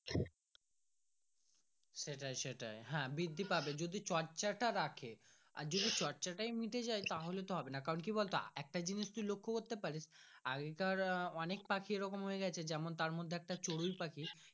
সেটাই সেটাই হ্যাঁ বৃদ্ধি পাবে যদি চর্চা টা রাখে আর যদি চর্চা টাই মিটে যাই তাহলে কিন্তু হবে না কারণ কি বলতো একটা জিনিস তুই লক্ষ্য করতে প্যারিস আগেকার আহ অনেক পাখি এরকম হয়ে গাছে যেমন তার মর্ধে একটা চরোয় পাখি।